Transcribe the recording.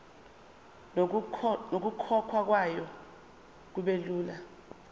nokukhokhwa kwayo kubelula